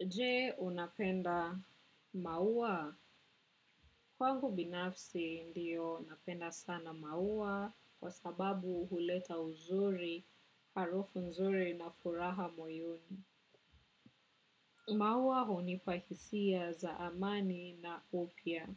Je unapenda maua. Kwangu binafsi ndiyo napenda sana maua kwa sababu huleta uzuri, harufu nzuri na furaha moyoni. Maua hunipa hisia za amani na upya